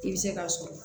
I bɛ se k'a sɔrɔ